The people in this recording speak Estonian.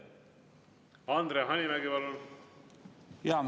Andre Hanimägi, palun!